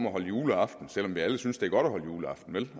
at holde juleaften selv om vi alle synes det er godt at holde juleaften vel